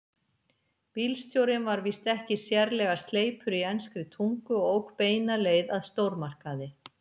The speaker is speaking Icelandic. Bílstjórinn var víst ekki sérlega sleipur í enskri tungu og ók beina leið að stórmarkaði.